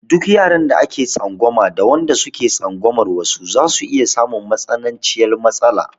Duka yaran da ake tsangwama da wanda suke tsangwamar wasu zasu iya samun matsananciyar matsala.